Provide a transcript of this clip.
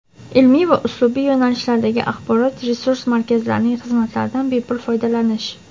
ilmiy va uslubiy yo‘nalishlardagi axborot-resurs markazlarining xizmatlaridan bepul foydalanish;.